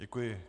Děkuji.